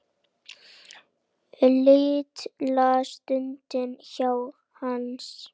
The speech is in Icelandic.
Litla stund hjá Hansa